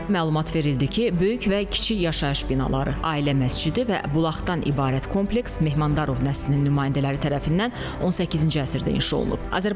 Məlumat verildi ki, böyük və kiçik yaşayış binaları, ailə məscidi və bulaqdan ibarət kompleks Mehmandarov nəslinin nümayəndələri tərəfindən 18-ci əsrdə inşa olunub.